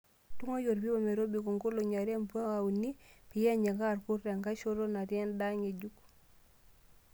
Tung'ai orpipa metobiko nkoling'I are mpaka uni peyie enyikaa irkurt enkae shoto natii endaa ngejuk.